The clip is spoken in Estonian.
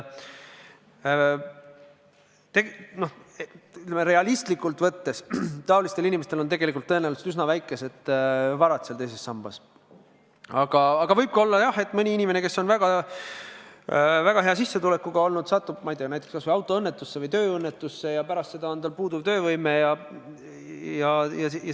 Realistlikult võttes on nendel inimestel tõenäoliselt üsna vähe vara teises sambas, aga jah, võib ka olla, et mõni inimene, kes on väga hea sissetulekuga olnud, satub, ma ei tea, kas autoõnnetusse või tööõnnetusse ja pärast seda tal töövõime puudub.